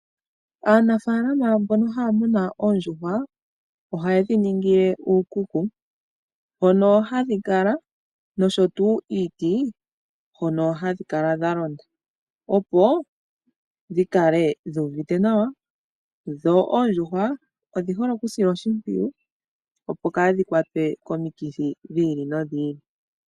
Aanafalama mbono ohaya munu oondjuhwa ohaye dhiningile uukuku mo o hadhi kala nosho tuu iiti hono hadhi kala dhalonda opo dhikale dhu uvite nawa dho oondjuhwa odhi hole okusilwa oshimpwiyu opo kaadhi kwatwe komikithi dhili nodhi ili.